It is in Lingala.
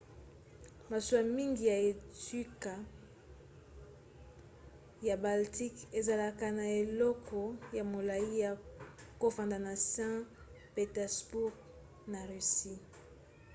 masuwa mingi ya etuka ya baltique ezalaka na eleko ya molai ya kofanda na saint-pétersbourg na russie